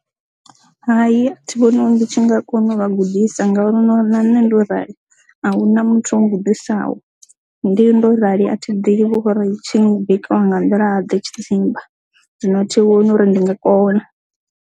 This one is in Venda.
Hai, thi vhoni ndi tshi nga kona u vha gudisa ngauri u no na nṋe ndo rali ahuna muthu ngudo vhusaho ndi ndo rali a thi ḓivhi vho ri tshi bikiwa nga nḓila ḓe tshidzimba zwino thi vhoni uri ndi nga kona.